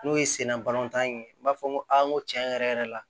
N'o ye senna balɔntan in ye n b'a fɔ n ko a n ko tiɲɛ yɛrɛ yɛrɛ la